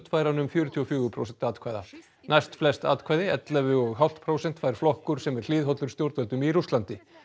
fær hann um fjörutíu og fjögur prósent atkvæða næstflest atkvæði ellefu og hálft prósent fær flokkur sem er hliðhollur stjórnvöldum í Rússlandi